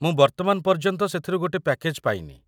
ମୁଁ ବର୍ତ୍ତମାନ ପର୍ଯ୍ୟନ୍ତ ସେଥିରୁ ଗୋଟେ ପ୍ୟାକେଜ୍‌ ପାଇନି ।